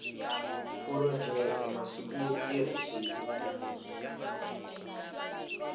phurojeke masiku yo tirha hi